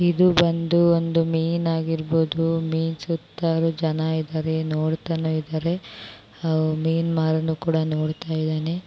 ಇದು ಬಂದು ಒಂದು ಮೀನು ಆಗಿರಬಹುದು ಮೀನಿನ ಸುತ್ತ ಜನರು ಇದ್ದಾರೆ ನೋಡ್ತಾ ಇದ್ದಾರೆ ಆ ಮೀನ್ ಮಾರುವವನು ಕೂಡ ನೋಡ್ತಾ ಇದ್ದಾನೆ